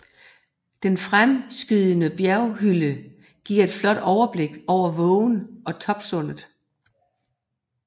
Den fremskydende bjerghylde giver et flot overblik over vågen og Toppsundet